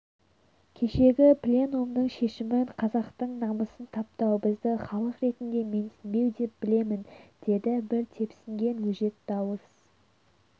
кешегі пленумның шешімін қазақтың намысын таптау бізді халық ретінде менсінбеу деп білемін деді бір тепсінген өжет дауыс